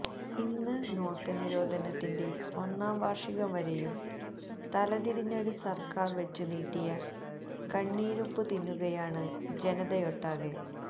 ഇന്ന് നോട്ടുനിരോധനത്തിന്റെ ഒന്നാംവാര്ഷികം വരെയും തലതിരിഞ്ഞൊരുസര്ക്കാര് വെച്ചുനീട്ടിയ കണ്ണീരുപ്പ് തിന്നുകയാണ് ജനതയൊട്ടാകെ